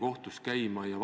Aitäh!